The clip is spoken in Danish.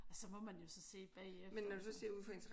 Og så må man jo så se bagefter